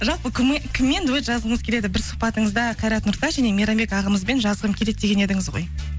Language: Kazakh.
жалпы кіммен дуэт жазғыңыз келеді бір сұхбатыңызда қайрат нұртас және мейрамбек ағамызбен жазғым келеді деген едіңіз ғой